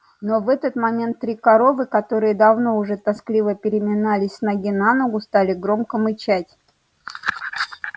но в этот момент три коровы которые давно уже тоскливо переминались с ноги на ногу стали громко мычать